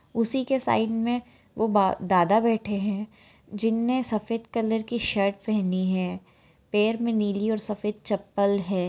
उसीके side मे वो बा-दादा बैठे है जिनने सफ़ेद कलर की शर्ट पहनी है पैर मे नीली और सफ़ेद चप्पल है।